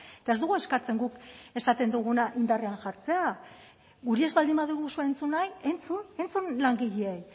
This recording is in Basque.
eta ez dugu eskatzen guk esaten duguna indarrean jartzea guri ez baldin baduguzue entzun nahi entzun entzun langileei